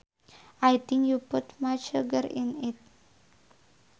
I think you put much sugar in it